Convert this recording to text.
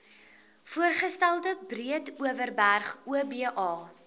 voorgestelde breedeoverberg oba